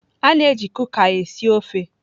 A na-eji Kuka esi ofe.